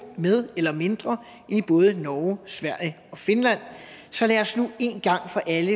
med eller mindre end i både norge sverige og finland så lad os nu en gang for alle